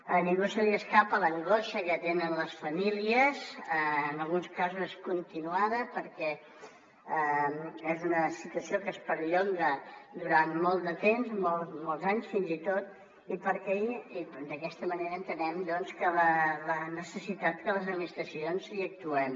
a ningú se li escapa l’angoixa que tenen les famílies en alguns casos continuada perquè és una situació que es perllonga durant molt de temps molts anys fins i tot i d’aquesta manera entenem doncs la necessitat que les administracions hi actuem